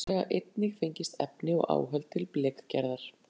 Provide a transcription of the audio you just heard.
Þaðan hafa væntanlega einnig fengist efni og áhöld til blekgerðar.